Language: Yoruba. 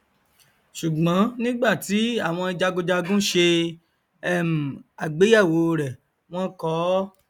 sùgbọn nígbà tí àwọn jagunjagun ṣe um àgbéyẹwò rẹ wọn kọọ